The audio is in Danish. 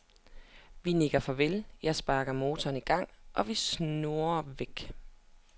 Vi nikker farvel, jeg sparker motoren i gang, og vi snurrer væk.